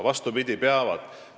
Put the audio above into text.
Vastupidi, peavad.